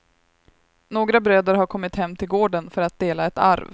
Några bröder har kommit hem till gården för att dela ett arv.